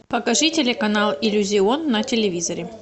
покажи телеканал иллюзион на телевизоре